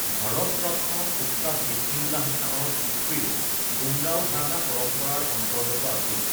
ভাৰত ৰত্ন উস্তাদ বিস্মিল্লাহ খানৰ পিতৃও ডুমৰাও ঘৰানা পৰম্পৰাৰ অন্তৰ্গত আছিল।